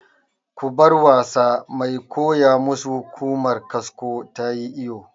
Ku bar wasa! Mai koya mu su Ƙumar kasko tayi iyo